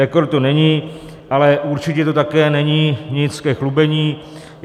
Rekord to není, ale určitě to také není nic ke chlubení.